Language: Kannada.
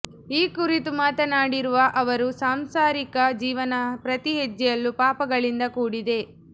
ಈ ಕುರಿತು ಮಾತನಾಡಿರುವ ಅವರು ಸಾಂಸಾರಿಕ ಜೀವನ ಪ್ರತಿಹೆಜ್ಜೆಯಲ್ಲೂ ಪಾಪಗಳಿಂದ ಕೂಡಿದೆ